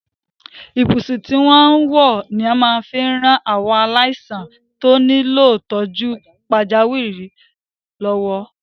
Ibùsùn tí wọ́n ń wọ́ ni wọ́n máa fi ran àwọn aláìsàn tí ó nílò ìtọ́jú pàjáwìrì lọ́wọ́.